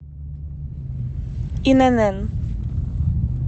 инн